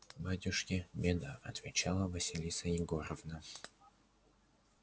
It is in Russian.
батюшки беда отвечала василиса егоровна